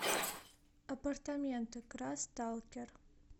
апартаменты крассталкер